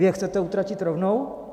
Vy je chcete utratit rovnou?